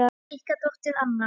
Ykkar dóttir, Anna.